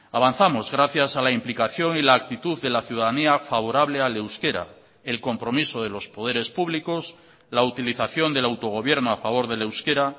avanzamos gracias a la implicación y la actitud de la ciudadanía favorable al euskera el compromiso de los poderes públicos la utilización del autogobierno a favor del euskera